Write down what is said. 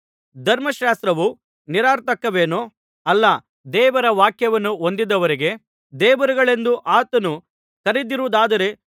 ಧರ್ಮಶಾಸ್ತ್ರವು ನಿರರ್ಥಕವೇನೂ ಅಲ್ಲ ದೇವರ ವಾಕ್ಯವನ್ನು ಹೊಂದಿರುವವರಿಗೆ ದೇವರುಗಳೆಂದೂ ಆತನು ಕರೆದಿರುವುದಾದರೆ